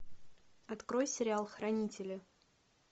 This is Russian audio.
открой сериал хранители